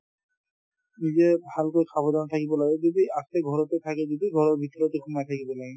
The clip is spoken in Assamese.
নিজে ভালকৈ সাৱধানে থাকিব লাগে যদি আছে ঘৰতে থাকে যদি ঘৰৰ ভিতৰতে সোমাই থাকিব লাগে